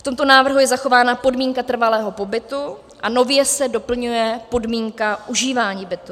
V tomto návrhu je zachována podmínka trvalého pobytu a nově se doplňuje podmínka užívání bytu.